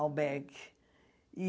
albergue. E